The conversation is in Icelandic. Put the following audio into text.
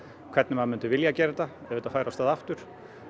hvernig maður myndi vilja gera þetta ef þetta færi af stað aftur